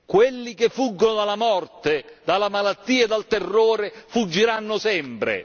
Quelli che fuggono dalla morte, dalla malattia, dal terrore, fuggiranno sempre!